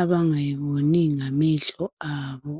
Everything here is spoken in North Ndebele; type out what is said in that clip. abangayiboni ngamehlo abo .